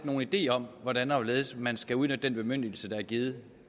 nogen idé om hvordan og hvorledes man skal udnytte den bemyndigelse der er givet